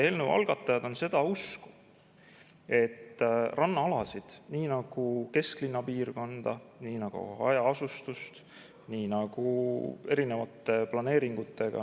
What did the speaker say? Eelnõu algatajad on seda usku, et rannaalasid, siis neid planeeringuid tehakse, nii nagu kesklinna piirkonda ja nii nagu hajaasustust.